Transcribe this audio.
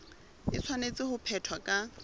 e tshwanetse ho phethwa ka